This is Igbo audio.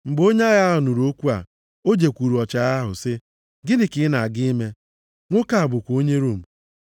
Mgbe onye agha a nụrụ okwu a, o jekwuuru ọchịagha ahụ sị, “Gịnị ka ị na-aga ime? Nwoke a bụkwa onye Rom.”